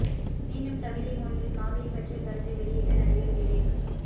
மீண்டும் கவிதை மொழியில் காவிரி பற்றிய கருத்தை வெளியிட்ட நடிகர் விவேக்